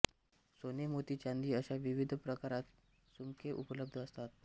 सोने मोती चांदी अशा विविध प्रकारात सुम्के उपलब्ध असतात